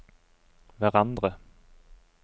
hverandre